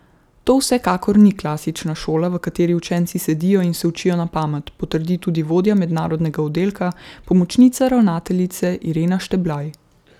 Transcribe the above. To vsekakor ni klasična šola, v kateri učenci sedijo in se učijo na pamet, potrdi tudi vodja mednarodnega oddelka, pomočnica ravnateljice Irena Šteblaj.